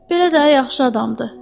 Belə də yaxşı adamdır.